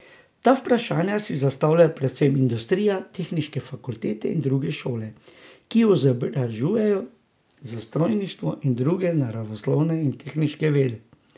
Ta vprašanja si zastavljajo predvsem industrija, tehniške fakultete in druge šole, ki izobražujejo za strojništvo in druge naravoslovne in tehniške vede.